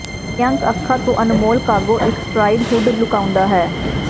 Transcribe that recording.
ਪ੍ਰਿਅੰਕ ਅੱਖਾਂ ਤੋਂ ਅਨਮੋਲ ਕਾਗੋ ਇੱਕ ਸਟਰਾਈਡ ਹੁੱਡ ਲੁਕਾਉਂਦਾ ਹੈ